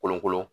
Kolon kolon